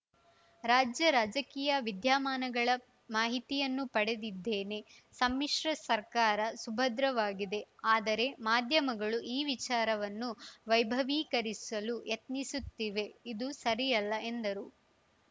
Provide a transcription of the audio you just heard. ರಾಜ್ಯ ರಾಜಕೀಯ ವಿದ್ಯಮಾನಗಳ ಮಾಹಿತಿಯನ್ನೂ ಪಡೆದಿದ್ದೇನೆ ಸಮ್ಮಿಶ್ರ ಸರ್ಕಾರ ಸುಭದ್ರವಾಗಿದೆ ಆದರೆ ಮಾಧ್ಯಮಗಳು ಈ ವಿಚಾರವನ್ನು ವೈಭವೀಕರಿಸಲು ಯತ್ನಿಸುತ್ತಿವೆ ಇದು ಸರಿಯಲ್ಲ ಎಂದರು